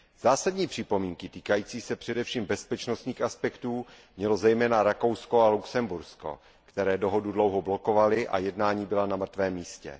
Zásadní připomínky týkající se především bezpečnostních aspektů měly zejména Rakousko a Lucembursko, které dohodu dlouho blokovaly a jednání byla na mrtvém místě.